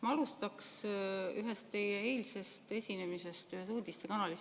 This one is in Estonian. Ma alustan ühest teie eilsest esinemisest ühes uudistekanalis.